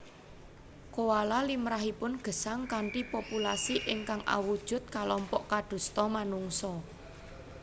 Koala limrahipun gesang kanthi populasi ingkang awujud kalompok kadosta manungsa